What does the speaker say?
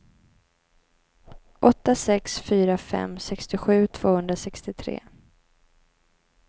åtta sex fyra fem sextiosju tvåhundrasextiotre